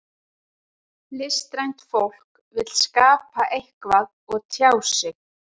Listrænt fólk vill skapa eitthvað og tjá sig.